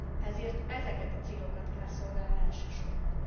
Ezért ezeket a célokat kell szolgálja elsősorban.